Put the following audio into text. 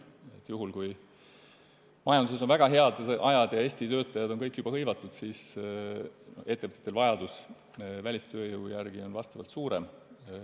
Juhul, kui majanduses on väga head ajad ja kõik Eesti töötajad on juba hõivatud, on ettevõtjatel vajadus välistööjõu järele suurem.